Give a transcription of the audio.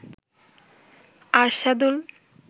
Arshadul